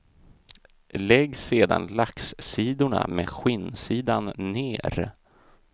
Lägg sedan laxsidorna med skinnsidan ner.